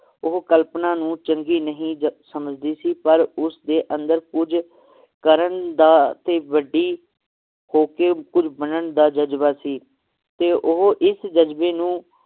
ਉਹ ਕਲਪਨਾ ਨੂੰ ਚੰਗੀ ਨਹੀਂ ਜ~ ਸਮਝਦੀ ਸੀ ਪਰ ਉਸਦੇ ਅੰਦਰ ਕੁਜ ਕਰਨ ਦਾ ਤੇ ਵੱਡੀ ਹੋ ਕੇ ਕੁਝ ਬਣਨ ਦਾ ਜਜਬਾ ਸੀ ਤੇ ਉਹ ਇਸ ਜਜਬੇ ਨੂੰ